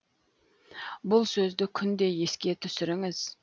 бұл сөзді күнде еске түсіріңіз